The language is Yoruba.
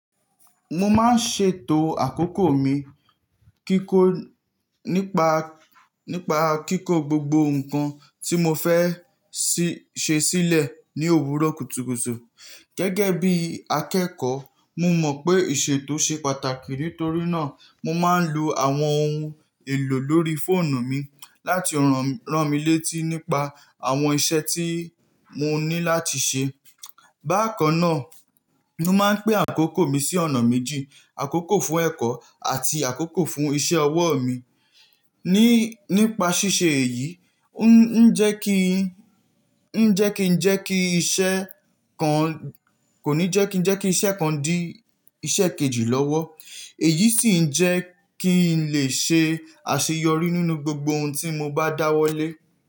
Mo máa ń ṣètò àkókò mi nípa kíkó gbogbo nǹkan tí mo fẹ́ ṣe sílẹ̀ ní òwúrọ̀ kùtùkùtù. Gẹ́gẹ́ bí akẹ́kọ̀ọ́, mo mọ̀ pé ìṣètò ṣe pàtàkì, nítorí náà mo máa ń lo àwọn ohun èlò lórí fóònù mi láti ràn mí létí nípa àwọn iṣẹ́ tí mo ní láti ṣe. Bákan náà, mo máa ń pín àkókò mi sí ọ̀nà méjì: àkókò fún ẹ̀kọ́ àti àkókò fún iṣẹ́ ọwọ́ mi. Nípa ṣíṣe èyí, kò ní jẹ́ kí n iṣẹ́ kan di iṣẹ́ kejì lọ́wọ́, èyí sì ń jẹ́ kí n lè ṣe àṣeyọrí nínú gbogbo ohun tí mo bá dáwọ́lé.